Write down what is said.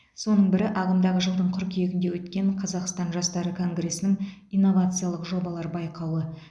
соның бірі ағымдағы жылдың қыркүйегінде өткен қазақстан жастары конгресінің инновациялық жобалар байқауы